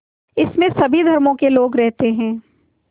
इसमें सभी धर्मों के लोग रहते हैं